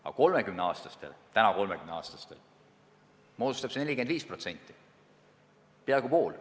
Aga neil, kes on praegu 30-aastased, moodustab see 45% – peaaegu poole.